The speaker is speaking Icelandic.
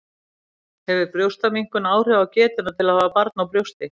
Hefur brjóstaminnkun áhrif á getuna til að hafa barn á brjósti?